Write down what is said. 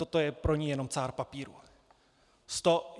Toto je pro ni jenom cár papíru.